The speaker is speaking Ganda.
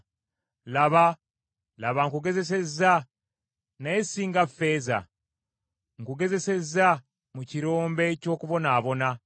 Laba nkugezesezza naye si nga ffeeza. Nkugezesezza mu kirombe ky’okubonaabona.